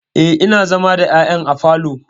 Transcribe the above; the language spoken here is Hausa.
Eh, ina zama da ƴaƴana a falo.